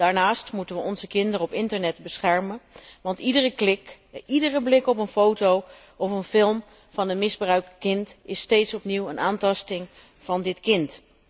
Daarnaast moeten we onze kinderen op internet beschermen, want iedere klik, iedere blik op een foto of een film van een misbruikt kind is steeds opnieuw een aantasting van dit kind.